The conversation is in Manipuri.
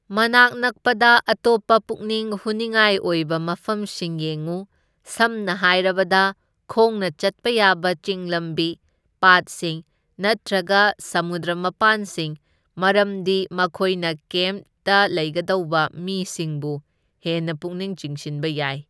ꯃꯅꯥꯛ ꯅꯛꯄꯗ ꯑꯇꯣꯞꯄ ꯄꯨꯛꯅꯤꯡ ꯍꯨꯅꯤꯡꯉꯥꯏ ꯑꯣꯏꯕ ꯃꯐꯝꯁꯤꯡ ꯌꯦꯡꯉꯨ, ꯁꯝꯅ ꯍꯥꯏꯔꯕꯗ ꯈꯣꯡꯅꯆꯠꯄ ꯌꯥꯕ ꯆꯤꯡ ꯂꯝꯕꯤ, ꯄꯥꯠꯁꯤꯡ ꯅꯠꯇ꯭ꯔꯒ ꯁꯃꯨꯗ꯭ꯔ ꯃꯄꯥꯟꯁꯤꯡ, ꯃꯔꯝꯗꯤ ꯃꯈꯣꯏꯅ ꯀꯦꯝꯇ ꯂꯩꯒꯗꯧꯕ ꯃꯤꯁꯤꯡꯕꯨ ꯍꯦꯟꯅ ꯄꯨꯛꯅꯤꯡ ꯆꯤꯡꯁꯤꯟꯕ ꯌꯥꯏ꯫